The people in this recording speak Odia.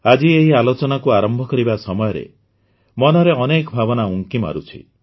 ଆଜି ଏହି ଆଲୋଚନାକୁ ଆରମ୍ଭ କରିବା ସମୟରେ ମନରେ ଅନେକ ଭାବନା ଉଙ୍କି ମାରୁଛି